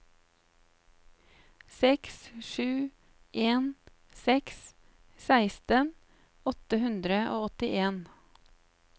seks sju en seks seksten åtte hundre og åttien